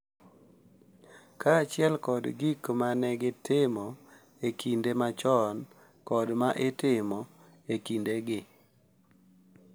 Kaachiel kod gik ma ne itimo e kinde machon kod ma itimo e kinde gi